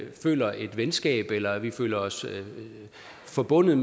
føler et venskab eller at vi føler os forbundet